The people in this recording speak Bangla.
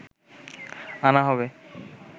আনা হবে